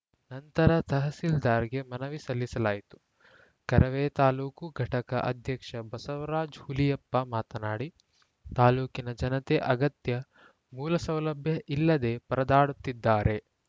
ನಂತರ ತಹಸೀಲ್ದಾರ್‌ಗೆ ಮನವಿ ಸಲ್ಲಿಸಲಾಯಿತು ಕರವೇ ತಾಲೂಕು ಘಟಕ ಅಧ್ಯಕ್ಷ ಬಸವರಾಜ್‌ ಹುಲಿಯಪ್ಪ ಮಾತನಾಡಿ ತಾಲೂಕಿನ ಜನತೆ ಅಗತ್ಯ ಮೂಲಸೌಲಭ್ಯ ಇಲ್ಲದೆ ಪರದಾಡುತ್ತಿದ್ದಾರೆ